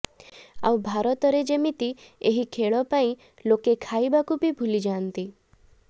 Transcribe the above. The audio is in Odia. ଆଉ ଭାରତରେ ଯେମିତି ଏହି ଖେଳ ପାଇଁ ଲୋକେ ଖାଇବାକୁ ବି ଭୁଲିଯାନ୍ତି